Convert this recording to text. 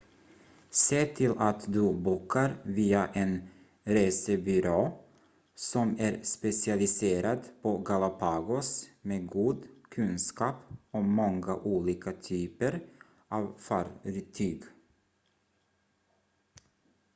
se till att du bokar via en resebyrå som är specialiserad på galapagos med god kunskap om många olika typer av fartyg